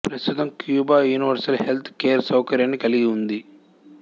ప్రస్తుతం Cuba universal health care సౌకర్యాన్ని కలిగి ఉంది